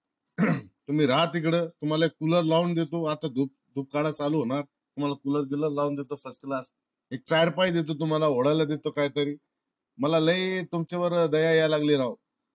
तुम्ही राहा तिकड. तुम्हाला cooler लावून देतो. आता धूप काळा चालू होणार. तुम्हला cooler बिलर लावून देतो first class एक चार पाई देतो तुम्हाला ओडायला देतो काय तरी. मला लई तुमच्या वर दया यायला लागली राव